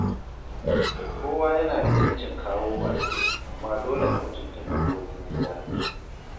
Kowa yana da ‘yancin kawo baƙi, amma dole a mutunta dokokin gida.